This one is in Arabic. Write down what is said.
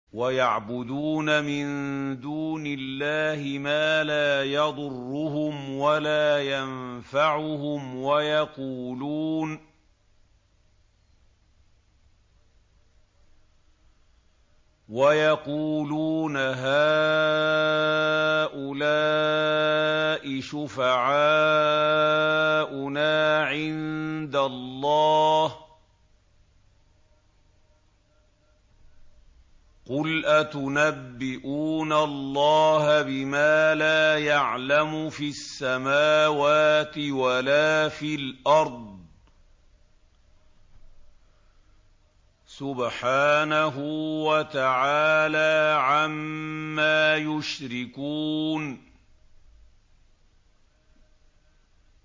وَيَعْبُدُونَ مِن دُونِ اللَّهِ مَا لَا يَضُرُّهُمْ وَلَا يَنفَعُهُمْ وَيَقُولُونَ هَٰؤُلَاءِ شُفَعَاؤُنَا عِندَ اللَّهِ ۚ قُلْ أَتُنَبِّئُونَ اللَّهَ بِمَا لَا يَعْلَمُ فِي السَّمَاوَاتِ وَلَا فِي الْأَرْضِ ۚ سُبْحَانَهُ وَتَعَالَىٰ عَمَّا يُشْرِكُونَ